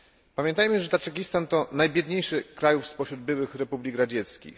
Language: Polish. Pamiętajmy, że Tadżykistan to najbiedniejszy z krajów spośród byłych republik radzieckich.